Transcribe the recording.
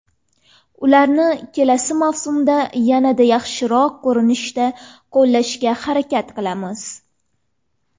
Ularni kelasi mavsumda yanada yaxshiroq ko‘rinishda qo‘llashga harakat qilamiz.